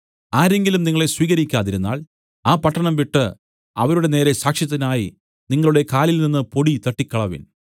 ആരെങ്കിലും നിങ്ങളെ സ്വീകരിക്കാതിരുന്നാൽ ആ പട്ടണം വിട്ടു അവരുടെ നേരെ സാക്ഷ്യത്തിനായി നിങ്ങളുടെ കാലിൽനിന്ന് പൊടി തട്ടിക്കളവിൻ